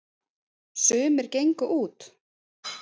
sumir gengu út